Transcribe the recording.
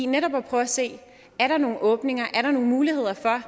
netop at prøve at se er der nogle åbninger er der nogle muligheder for